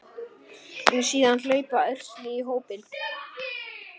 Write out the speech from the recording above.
Síðan hlaupa ærsli í hópinn.